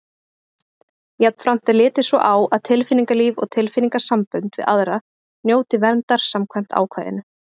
Jafnframt er litið svo á að tilfinningalíf og tilfinningasambönd við aðra njóti verndar samkvæmt ákvæðinu.